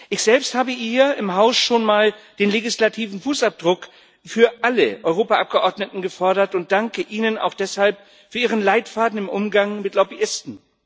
Ich selbst habe hier im Haus schon mal den legislativen Fußabdruck für alle Europaabgeordneten gefordert und danke Ihnen auch deshalb für ihren Leitfaden im Umgang mit Lobbyisten.